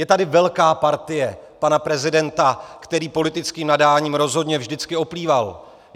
Je tady velká partie pana prezidenta, který politickým nadáním rozhodně vždycky oplýval.